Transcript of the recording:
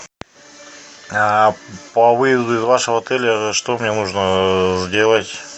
а по выезду из вашего отеля что мне нужно сделать